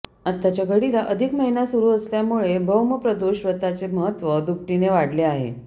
आताच्या घडीला अधिक महिना सुरू असल्यामुळे भौमप्रदोष व्रताचे महत्त्व दुपटीने वाढले आहे